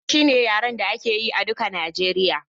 Hausa shine yaren da aka yi a duka Nijeriya